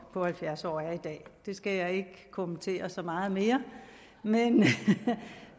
på halvfjerds år er i dag det skal jeg ikke kommentere så meget mere